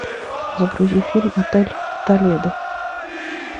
загрузи фильм отель толедо